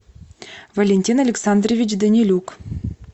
валентин александрович данилюк